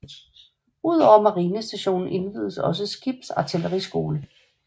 Udover marinestationen indviedes også en skibsartilleriskole